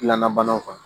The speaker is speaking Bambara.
Gilanna banaw kan